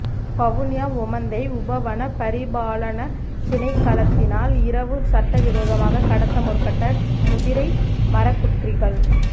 வவுனியா ஒமந்தை உப வன பரிபாலனத் திணைக்களத்தினால் இரவு சட்டவிரோதமாக கடத்த முற்ப்பட்ட முதிரை மரக்குற்றிகள்